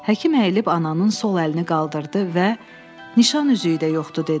Həkim əyilib ananın sol əlini qaldırdı və nişan üzüyü də yoxdu dedi.